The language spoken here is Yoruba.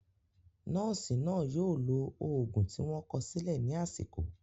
Nọ́ọ̀sì náà yóò lo òògùn tí wọ́n kọ sílẹ̀ ní àsìkò.